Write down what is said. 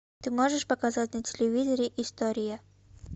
ты можешь показать на телевизоре история